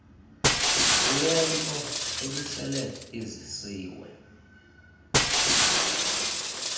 lwento ebisele izisiwe